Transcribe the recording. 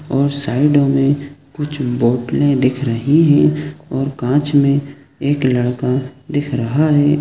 --और साइड मे कुछ बोतले दिख रही हैं और कांच मे एक लड़का दिख रहा है।